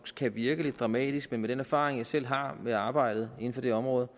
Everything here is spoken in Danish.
kan virke lidt dramatisk men med den erfaring jeg selv har med arbejdet inden for det område